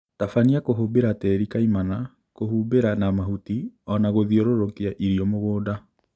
Tabania kuhũmbira tĩri kaimana, kũhumbĩra na mahuti ona gũthiũrũrũkia irio mũgũnda